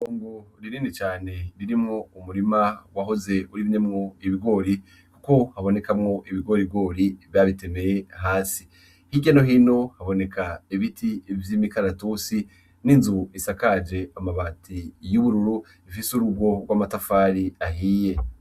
Itongo rinini cane ririmwo umurima wahoze urimyemwo ibigori, kuko habonekamwo ibigorigori babitemeye hasi ,hirya no hino haboneka ibiti vy'imikaratusi n'inzu isakaje amabati y'ubururu ,ifise urugo rw'amatafari ahiye.